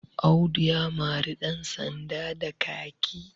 Audu ya mari ɗansanda ba kaki